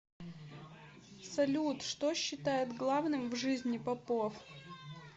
салют что считает главным в жизни попов